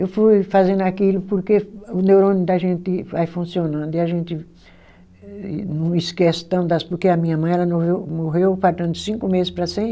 Eu fui fazendo aquilo porque o neurônio da gente vai funcionando e a gente não esquece tanto das, porque a minha mãe ela morreu faltando cinco meses para cem